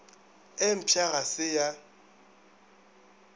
e mpšha ga se ya